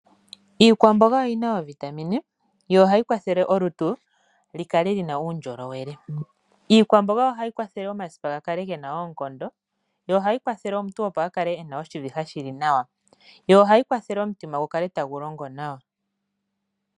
Iikwamboga oyi na ooVitamine yo ohayi kwathele olutu li kalelina uundjolowele. Iikwamboga ohayi kwathele omasipa ga kale gena oonkondo, yo ohayi kwathele omuntu opo a kale ena oshiviha shili nawa. Yo ohayi kwathele omutima gu kale tagu longo nawa.